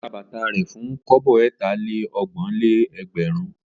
Ó ta bàtà rẹ̀ fún kọ́bọ̀ ẹ̀tà-lé-ọgbọ̀n-lé-ẹgbẹ̀rún.